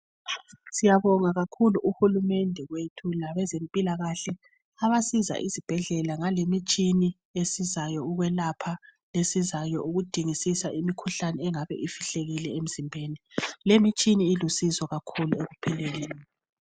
Siyabonga kakhulu uhulumende wethu labezempilakahle abasiza izibhedlela ngale imitshina esizayo ukwelapha, esizayo ukudingisisa imikhuhlane engabe ifihlekile emzimbeni. Lemitshina ilusizo kakhulu ekuphileni.